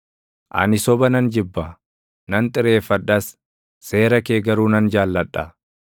Ani soba nan jibba; nan xireeffadhas; seera kee garuu nan jaalladha.